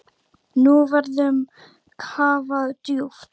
Nú verður kafað djúpt.